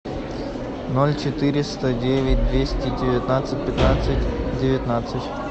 ноль четыреста девять двести девятнадцать пятнадцать девятнадцать